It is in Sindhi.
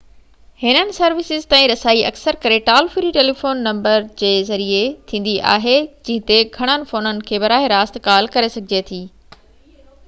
هنن سروسز تائين رسائي اڪثر ڪري ٽال-فري ٽيليفون نمبر ذريعي ٿيندي آهي جنهن تي گھڻن فونن کان براه راست ڪال ڪري سگهجي ٿي